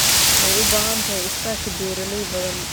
Waxay u baahan tahay iskaashi beeralay badan.